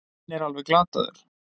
Minn er alveg glataður.